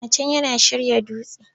Yana can yana shirya dutse!